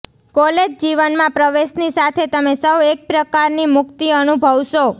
college જીવનમાં પ્રવેશની સાથે તમે સૌ એક પ્રકારની મુક્તિ અનુભવશો